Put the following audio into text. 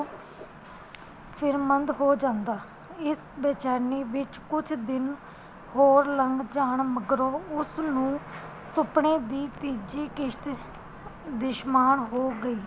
ਫ਼ਿਕਰਮੰਦ ਹੋ ਜਾਂਦਾ, ਇਸ ਬੇਚੈਨੀ ਵਿਚ ਕੁਝ ਦਿਨ ਹੋਰ ਲੰਘ ਜਾਣ ਮਗਰੋਂ ਉਸਨੂੰ ਸੁਪਨੇ ਦੀ ਤੀਜੀ ਕਿਸ਼ਤ ਦਿਸ਼ਮਾਰ ਹੋ ਗਈ